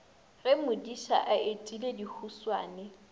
ge modiša a etile dihuswane